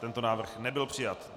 Tento návrh nebyl přijat.